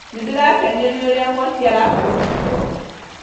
Nĩndĩrakenio nĩ ũrĩa mwaki araka rũthingo